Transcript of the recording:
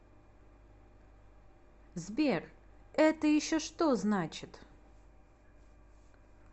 сбер это еще что значит